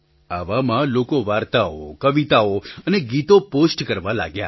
આવામાં લોકો વાર્તાઓ કવિતાઓ અને ગીતો પૉસ્ટ કરવા લાગ્યા